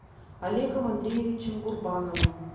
олегом андреевичем гурбановым